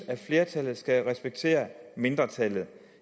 at flertallet skal respektere mindretallet